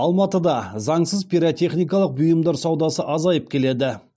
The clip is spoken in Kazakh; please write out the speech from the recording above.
алматыда заңсыз пиротехникалық бұйымдар саудасы азайып келеді